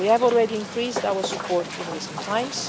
We have already increased our support in recent times.